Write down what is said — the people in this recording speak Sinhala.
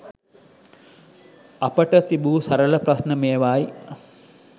අපට තිබූ සරල ප්‍රශ්ණ මේවායි